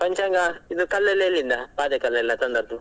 ಪಂಚಾಂಗ ಇದು ಕಲ್ಲೆಲ್ಲ ಎಲ್ಲಿಂದ ಪಾದೆ ಕಲ್ಲು ಎಲ್ಲ ತಂದದ್ದು?